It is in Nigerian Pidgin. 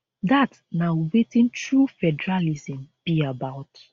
dat na wetin true federalism be about